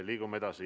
Liigume edasi.